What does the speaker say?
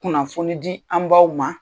Kunnafoni di an baw ma